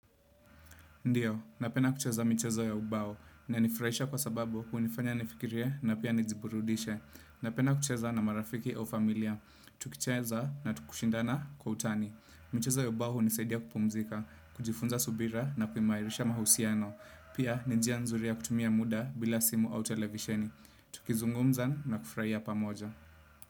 Ndiyo, napenda kucheza michezo ya ubao ina nifurahisha kwa sababu hunifanya nifikirie na pia nijiburundishe. Napenda kucheza na marafiki au familia. Tukicheza na tukushindana kwa utani. Michezo ya ubao unisaidia kupumzika, kujifunza subira na kumairisha mahusiano. Pia nijia nzuri ya kutumia muda bila simu au televisheni. Tukizungumza na kufurahia pamoja.